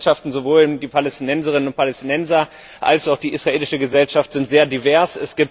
Beide Gesellschaften sowohl die Palästinenserinnen und Palästinenser als auch die israelische Gesellschaft sind sehr divers.